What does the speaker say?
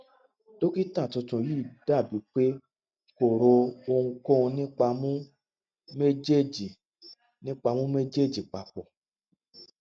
dokita tuntun yii dabi pe ko ro ohunkohun nipa mu mejeeji nipa mu mejeeji papọ